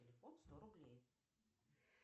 телефон сто рублей